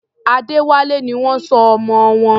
Adéwálé ni wọ́n sọ ọmọ wọn.